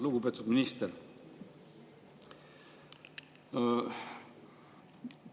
Lugupeetud minister!